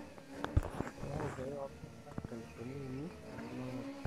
keyaau keeya oltungana inkalifuni uni tekila olari.